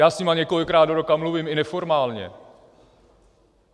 Já s nimi několikrát do roka mluvím i neformálně.